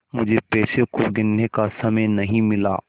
मुझे पैसों को गिनने का समय नहीं मिला